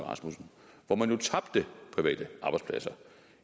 rasmussen hvor man jo tabte private arbejdspladser